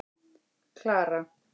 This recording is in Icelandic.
Klara